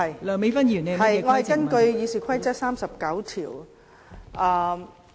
代理主席，我根據《議事規則》第39條提出規程問題。